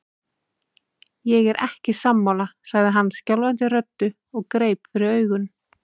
Ég er ekki sammála, sagði hann skjálfandi röddu og greip fyrir augun.